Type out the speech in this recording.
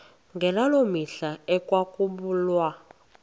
ngaloo mihla ekwakubulawa